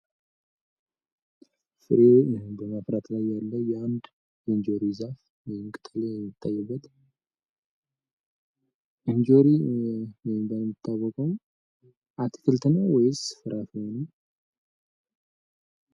ፍሬ በማፍራት ላይ ያለ የአንድ የእንጆሪ ዛፍ ወይም ቅጠል የሚታይበት። እንጆሪ በመባል የሚታወቀው አትክልት ነው ወይስ ፍራፍሬ ነው?